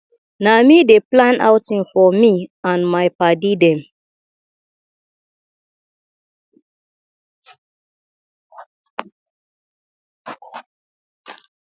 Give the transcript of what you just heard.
na me dey plan outing for me and my paddy dem